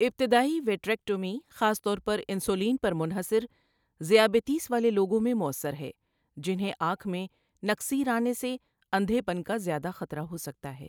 ابتدائی وٹریکٹومی خاص طور پر انسولین پر منحصر ذیابیطس والے لوگوں میں مؤثر ہے، جنہیں آنکھ میں نکسیر آنے سے اندھے پن کا زیادہ خطرہ ہو سکتا ہے۔